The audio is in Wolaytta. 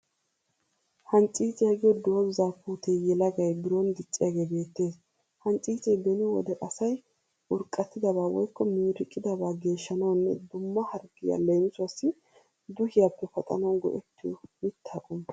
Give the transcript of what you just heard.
Hancciiciya giyoo doozzaa puutee yelagay biron dicciyagee beettees. Hancciice beni wode asay urqqatidabaa woyikko miiriqidaba geeshshanawunne dumma harggiya leemisuwassi duuhiyappe paxanawu go'ettiyo mitta qommo.